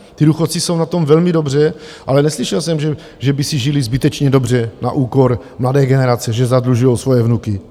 Ti důchodci jsou na tom velmi dobře, ale neslyšel jsem, že by si žili zbytečně dobře na úkor mladé generace, že zadlužují svoje vnuky.